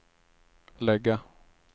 lägga